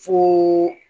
Fo